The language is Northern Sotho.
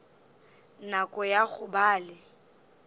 nako ya go ba le